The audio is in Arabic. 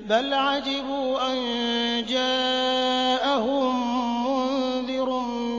بَلْ عَجِبُوا أَن جَاءَهُم مُّنذِرٌ